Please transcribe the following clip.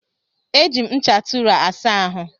E ji me ncha Tụra asa ahụ